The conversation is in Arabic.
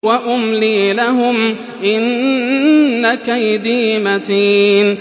وَأُمْلِي لَهُمْ ۚ إِنَّ كَيْدِي مَتِينٌ